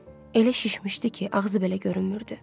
Elə şişmişdi ki, ağzı belə görünmürdü.